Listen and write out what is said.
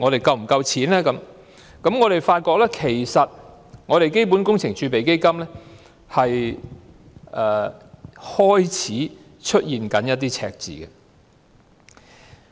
自回歸至今，我們發現基本工程儲備基金開始出現赤字。